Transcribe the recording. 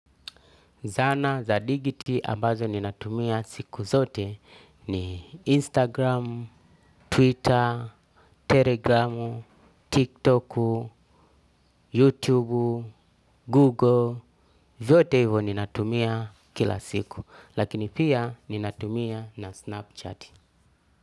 Zana za dijiti ambazo ninatumia siku zote ni Instagram, Twitter, Telegram, TikTok, YouTube, Google, vyote hivyo ninatumia kila siku. Lakini pia ninatumia na Snapchat.